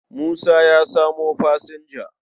Musa ya samo fasinja.